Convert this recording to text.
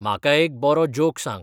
म्हाका एक बरो जोक सांग